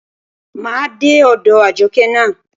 Máa dé ọ̀dọ̀ Àjọkẹ́ ná.